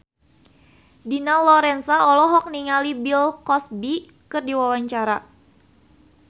Dina Lorenza olohok ningali Bill Cosby keur diwawancara